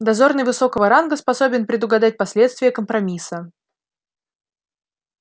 дозорный высокого ранга способен предугадать последствия компромисса